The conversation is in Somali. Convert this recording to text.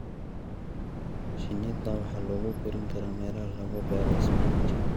Shinnida waxaa lagu korin karaa meelaha lagu beero isbinaajka.